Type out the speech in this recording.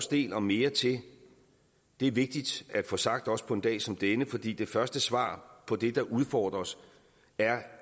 del og mere til det er vigtigt at få sagt også på en dag som denne fordi det første svar på det der udfordrer os er